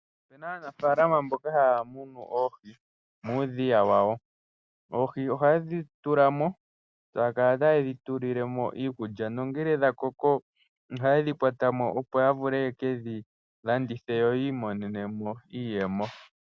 Opena aanafalama mboka haya munu oohi muudhiya wawo. Oohi ohaye dhi tula mo taya kala taye dhitulile mo iikulya nongele dhakoko ohaye dhikwata mo, opo ya vule yekedhilandithe yo yi imonene mo iiyemo.